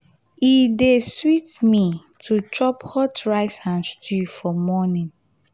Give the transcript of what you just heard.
e dey sweet me to chop hot rice and stew for morning.